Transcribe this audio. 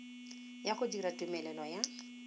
ya go dira tumelelo ya